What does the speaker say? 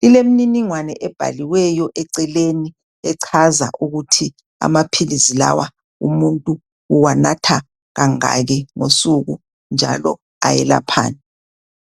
Lilemniningwane ebhaliweyo eceleni echaza ukuthi amaphilizi lawa umuntu uwanatha kangaki ngosuku njalo ayelaphani.